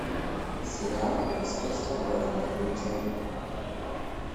сериал превосходство борна включай